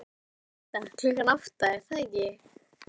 Átta, klukkan átta, er það ekki?